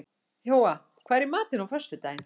Jóa, hvað er í matinn á föstudaginn?